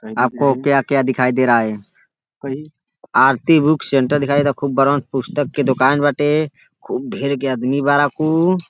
आपको क्या क्या दिखाई दे रहा है। आरती बुक सेण्टर दिखाई देता खूब बड़हन पुस्तक के दुकान बाटे। खूब ढेर के आदमी बाड़न कु।